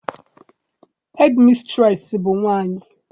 Hedimistreesị bụ nwaanyị.